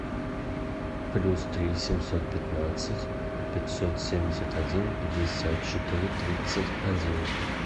плюс три семьсот пятнадцать пятьсот семьдесят один пятьдесят четыре тридцать один